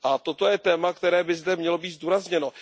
Toto je téma, které by zde mělo být zdůrazněno.